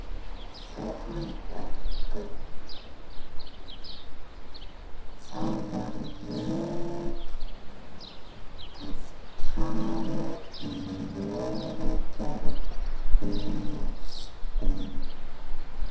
ÞÓRBERGUR: Þá var ég að tala um ljóðagerð Einars Ben.